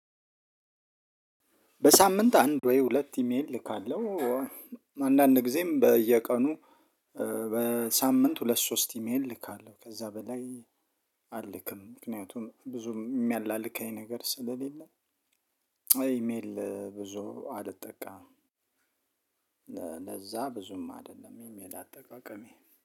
በሳምንት አንድ ወይ ሁለት ኢሜል እልካለሁ። አንዳንድ ጊዜም በየቀኑ። በሳምንት ሁለት ሶስት ኢሜል ልካለሁ ከዛ በላይ። አልክም ምክንያቱም ብዙም የሚያላልካኝ ነገር ስለሌለ። ኢሜል ብዙ አልጠቀምም። ለዛ ብዙም አይደለም ኢሚል አጠቃቀሜ